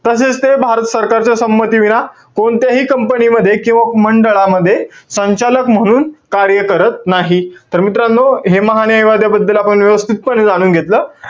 तसेच ते भारत सरकारच्या संमतीविना कोणत्याही company मध्ये किंवा मंडळामध्ये, संचालक म्हणून कार्य करत नाही. तर मित्रांनो, हे महान्यायवाद्याबद्दल आपण व्यवस्थितपणे जाणून घेतलं.